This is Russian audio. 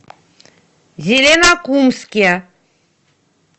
зеленокумске